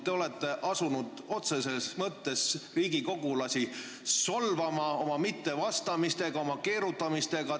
Te olete asunud otseses mõttes riigikogulasi solvama oma mittevastamisega, oma keerutamisega.